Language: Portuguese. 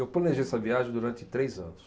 Eu planejei essa viagem durante três anos.